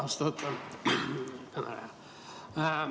Austatud ettekandja!